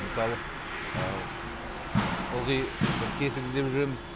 мысалы ылғи бір тесік іздеп жүреміз